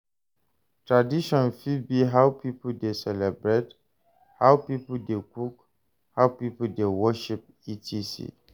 Tradition fit be how pipo de celebrate, how pipo de cook, how pipo de worship, etc.